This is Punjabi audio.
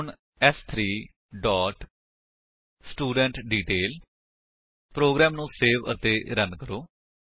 ਹੁਣ ਸ3 ਡੋਟ ਸਟੂਡੈਂਟਡੀਟੇਲ ਪ੍ਰੋਗਰਾਮ ਨੂੰ ਸੇਵ ਅਤੇ ਰਨ ਕਰੋ